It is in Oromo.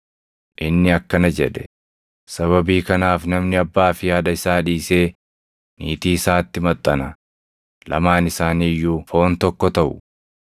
Inni akkana jedhe; ‘Sababii kanaaf namni abbaa fi haadha isaa dhiisee niitii isaatti maxxana; lamaan isaanii iyyuu foon tokko taʼu.’ + 19:5 \+xt Uma 2:24\+xt*